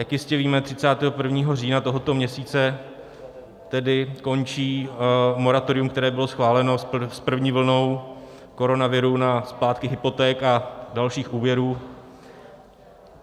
Jak jistě víme, 31. října tohoto měsíce tedy končí moratorium, které bylo schváleno s první vlnou koronaviru na splátky hypoték a dalších úvěrů.